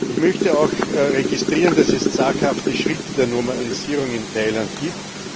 Ich möchte auch registrieren, dass es zaghafte Schritte der Normalisierung in Thailand gibt.